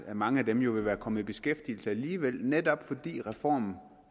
at mange af dem jo ville være kommet i beskæftigelse alligevel netop fordi reformen